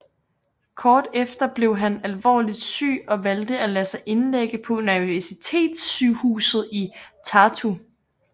Kort efter blev han alvorlig syg og valgte at lade sig indlægge på universitetssygehuset i Tartu